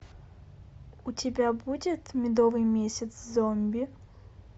у тебя будет медовый месяц зомби